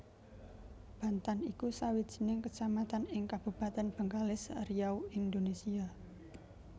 Bantan iku sawijining kecamatan ing Kabupatèn Bengkalis Riau Indonesia